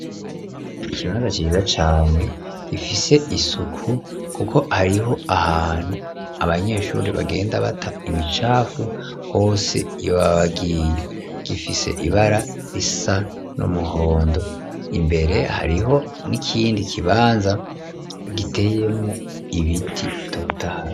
Ikibanza ciza cane gifise isuku kuko hariho ahantu abanyeshuri bagenda bata imicafu hose iyo baba bagiye gifise ibara risa n'umuhondo imbere hariho n'ikindi kibanza giteyemwo ibiti bitotaye